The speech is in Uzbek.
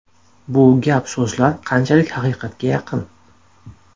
Bu gap-so‘zlar qanchalik haqiqatga yaqin?